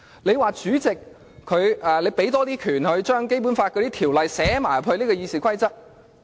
你又說，要給主席多些權力，將《基本法》的條文寫入《議事規則》。